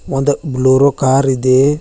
ಒಂದು Bolero car ಇದೆ.